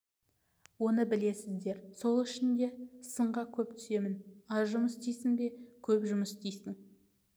оны білесіздер сол үшін де сынға көп түсемін аз жұмыс істейсің бе көп жұмыс істейсің